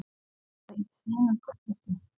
Er það svo í þínu tilviki?